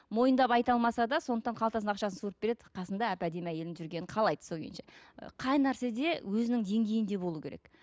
мойындап айта алмаса да сондықтан қалтасында ақшасын суырып береді қасында әп әдемі әйелінін жүргенін қалайды сол күйінше ы қай нәрсе де өзінің деңгейінде болу керек